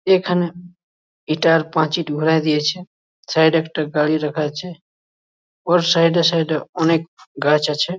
এখানে এটার পাঁচির ঘরাই দিয়েছে সাইড -এ একটা গাড়ি রাখা আছে ওর সাইড -এ সাইড -এ অনেক গাছ আছে।